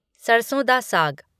सरसों डा साग